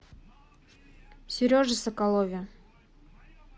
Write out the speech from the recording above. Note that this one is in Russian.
сереже соколове